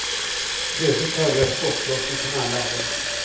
Plötsligt hörde jag skottlossning från alla håll.